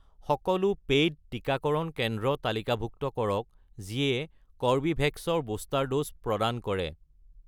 সকলো পে'ইড টিকাকৰণ কেন্দ্ৰ তালিকাভুক্ত কৰক যিয়ে কৰ্বীভেক্স ৰ বুষ্টাৰ ড'জ প্ৰদান কৰে